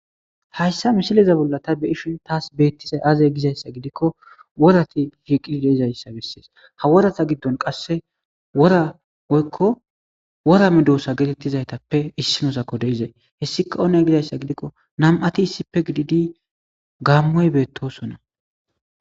hayssa mishileza bolla ta be ishin taas beettizay azey gizayssa gidikko worati shiiqidi deizayssa bessees ha worata giddon qasse wra oykko worame doossa getettizaytappe issinosako deizay hessika one gizayssa gidikko nam7ati issipe gididi gaammoy beettosonna